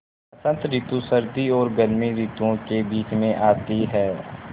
बसंत रितु सर्दी और गर्मी रितुवो के बीच मे आती हैँ